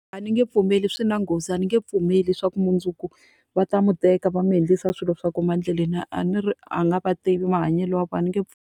A ni nge pfumeli swi na nghozi, a ni nge pfumeli leswaku mundzuku va ta n'wi teka va n'wi endlisa swilo swa ku huma endleleni. A ni ri a ni ri a nga va tivi mahanyelo ya vona a ni nge .